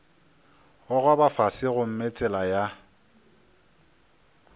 gogoba fase gomme tsela ya